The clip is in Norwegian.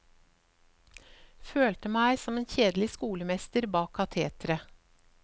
Følte meg som en kjedelig skolemester bak kateteret.